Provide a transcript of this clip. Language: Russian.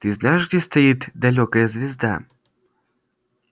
ты знаешь где стоит далёкая звезда